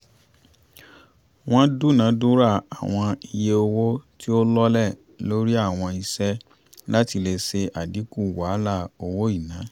wọ́n dúnadùrà àwọn iye owó tí ó lọlẹ̀ lórí àwọn iṣẹ́ láti lè ṣe àdínkù wàhálà owó ìná